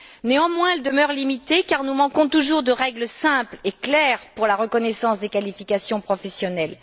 Néanmoins, elle demeure limitée car nous manquons toujours de règles simples et claires pour la reconnaissance des qualifications professionnelles.